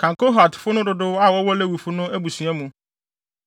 “Kan Kohatfo no dodow a wɔwɔ Lewifo no abusua mu.